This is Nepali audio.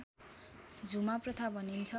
झुमा प्रथा भनिन्छ